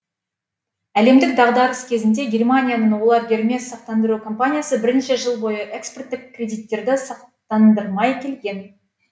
әлемдік дағдарыс кезінде германияның олер гермес сақтандыру компаниясы бірнеше жыл бойы экспорттық кредиттерді сақтандырмай келген